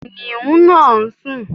Kìnnìún náà ń sùn.